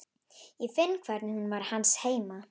Ég finn hvernig hún var hans heima.